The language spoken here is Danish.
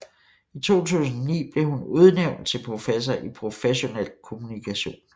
I 2009 blev hun udnævnt til professor i professionel kommunikation